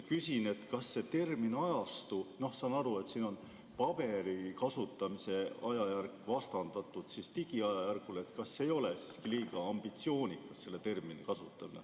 Küsin: kas termini "ajastu" kasutamine – saan aru, et siin on paberi kasutamise ajajärk vastandatud digiajajärgule – ei ole siiski liiga ambitsioonikas?